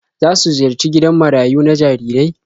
Za su ziyarci gidan marayu na jarirai?